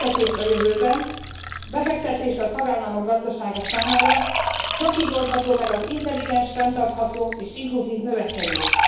Befektetés a jövőbe, befektetés a tagállamok gazdasága számára. Csak így oldható meg az intelligens, fenntartható és inkluzív növekedés.